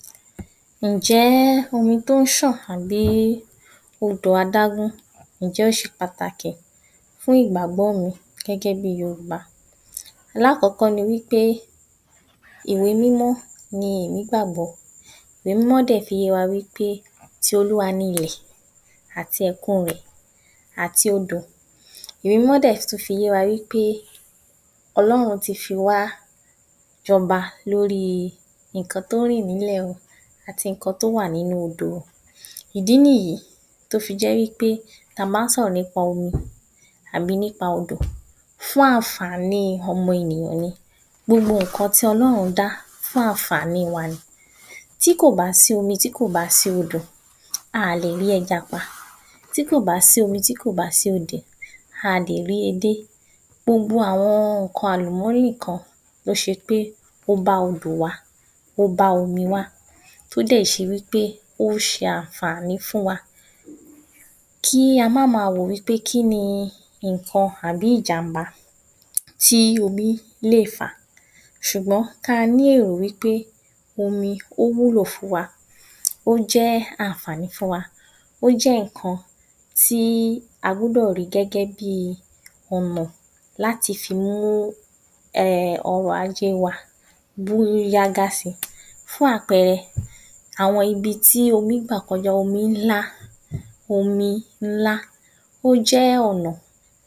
3. Ǹjẹ omi tó ń ṣàn àbí odò adágún, ǹjẹ́ ó ṣe pàtàkì fún pàtàkì fún ìgbàgbọ́ mi, gẹ́gẹ́ bi Yorùbá. Láàkọ́kọ́ ni wípé ìwé mímọ́ ní èmi gbàgbọ́, ìwé mímọ́ dẹ̀ fi yé wa wípé ti olúwa ni ilẹ̀ àti ẹ̀kun rẹ̀ àti odò. Ìwé mímọ́ dẹ̀ tún fi yé wa wípé ọlọ́run ti fi wá jọba lóri ǹkan tó rìn n’ilẹ̀ o, àti ǹkan tó wà nínú òdò o. Ìdí nìyí tó fi jẹ́ wípé, ta má ń sọ̀rọ̀ nípa omi, àbí nípa odò, fún ànfàní ọmọ ènìyàn ni. Gbogbo ǹkan tí ọlọ́run dá fún ànfàní wa ni. Tí kò bá sí omi, tí kò bá sí odò, a lè rí ẹja pa, tí kò bá sí omi, tí kò bá sí odò, a lè rí edé. Gbogbo àwọn ǹkan àlùmọ́rì gan, ló ṣe wípé ó bá odò wá, ó bá omi wá. Tó dẹ̀ ṣe wípé ó se ànfàní fún wa. Kí a má ma rò wípé kíni ǹkan àbí ìjàmbá tí omi léè fà, ṣùgbọ́n, ka ní èrò wípé omi ó wúlò fún wa, ó jẹ́ ànfàní fún wa. Ò jẹ́ ǹkan tí a gbọ́dọ̀ ri gẹ́gẹ́ bi ọmọ láti fi mú um ọrọ̀ ajé wa, bú yágá si. Fún àpẹrẹ àwọn ibití omi ń gbà kọjá, omi ǹlà, omi ǹlà, ò jẹ̀ ọ̀nà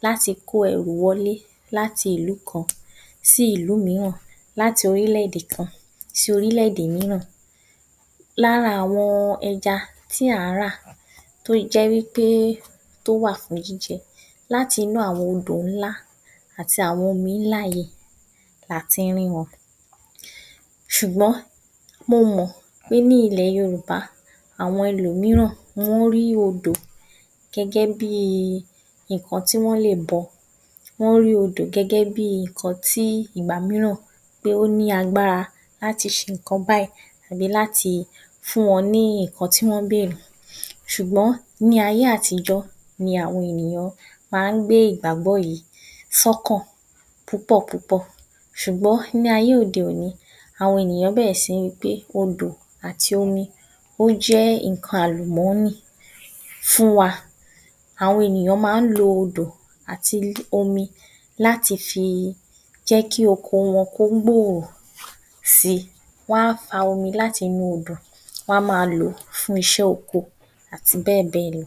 láti kó ẹrù wọlé láti ìlú kan sí ìlú míràn láti orílèdè kan sí orílèdè míràn. Lára àwọn ẹja tí àń rà tó jẹ́ wípé tó wà fún jíjẹ láti inú àwọn odò ńlá, àti àwọn omi ńlá yìí lati ń rí wọn. Ṣùgbọ́n, mo mọ̀ pé, ní ilẹ̀ Yorùbá, àwọn ẹlòmíràn wọ́n rí odò gẹ́gẹ́ bi ǹkan tí wọ́n lè bọ, wọ́n rí odò gẹ́gẹ́ bí ǹkan tí ìgbà míràn pé ó ní agbára láti ṣe ǹkan báì àbí láti fún wọn ní ǹkan tí wọ́n bèrè, ṣùgbọ́n, ní ayé àtijọ́ ni àwọn ènìyàn ma ń gbé ìgbàgbọ́ yìí ṣọ́kàn púpọ̀ púpọ̀. sùgbọ́n, ní ayé òde òni, àwọn ènìyàn bẹ̀rẹ̀ sí ní gbé odò ati omi, ó jẹ́ ǹkan àlùmọ́nì fún wa. Àwọn ènìyàn má ń lo odò àti omi láti fi jẹ́kí oko wọn kó gbòrò si, wọ́n á fa omi láti inú odò. Wọn á ma lòó fún iṣẹ́ oko lò àti bẹ́ẹ̀bẹ́ẹ̀ lọ.